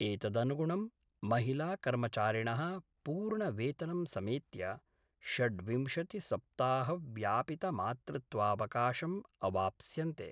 एतदनुगुणं महिलाकर्मचारिणः पूर्ण वेतनं समेत्य षड्विंशतिसप्ताहव्यापिमातृत्वावकाशम् अवाप्स्यन्ते।